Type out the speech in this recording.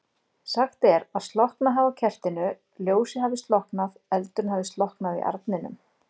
Sagt er að slokknað hafi á kertinu, ljósið hafi slokknað, eldurinn hafi slokknað í arninum.